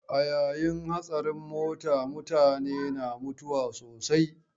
A yayin hatsarin mota mutane na mutuwa sosai.